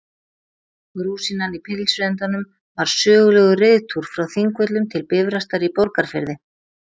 Rúsínan í pylsuendanum var sögulegur reiðtúr frá Þingvöllum til Bifrastar í Borgarfirði.